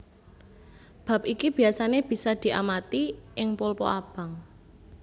Bab iki biasané bisa diamati ing pulpa abang